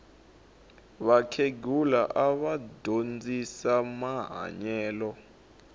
vakhegula ava dyondzisa mahanyelo